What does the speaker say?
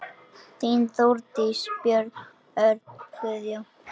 Þín, Þórdís, Björn, Örn, Guðjón.